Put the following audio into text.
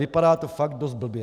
Vypadá to fakt dost blbě.